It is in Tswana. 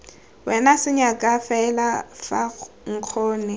wena senyaka felo fa nkgonne